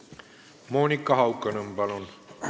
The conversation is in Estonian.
Monika Haukanõmm, palun!